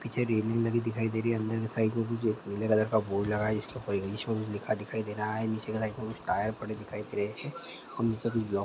पीछे रेलिंग लगी दिखाई दे रही है। अंदर के साइड एक पीले कलर का बोर्ड लगा है जिसके ऊपर इग्लिश कुछ लिखा दिखा दे रहा है। नीचे के साइड में कुछ टायर पड़े दिखाई दे रहे हैं और नीचे कुछ ब्लॉ --